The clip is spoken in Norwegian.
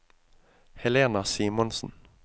Helena Simonsen